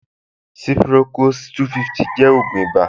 Ciprocos-250 jẹ́ ògùn ìbà